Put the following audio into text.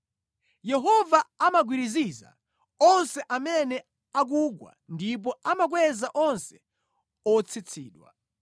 Yehova amagwiriziza onse amene akugwa ndipo amakweza onse otsitsidwa.